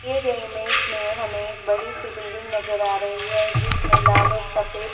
दिए गए इमेज में हमें एक बड़ी सी बिल्डिंग नजर आ रही है जिसमें लाल और सफेद -